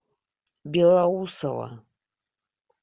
белоусово